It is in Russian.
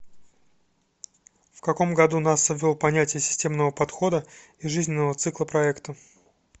в каком году наса ввел понятие системного подхода и жизненного цикла проекта